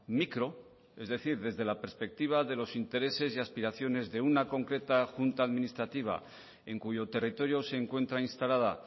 micro es decir desde la perspectiva de los intereses y aspiraciones de una concreta junta administrativa en cuyo territorio se encuentra instalada